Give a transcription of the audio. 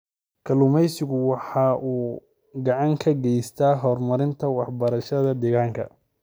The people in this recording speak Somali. Kalluumaysigu waxa uu gacan ka geystaa horumarinta waxbarashada deegaanka.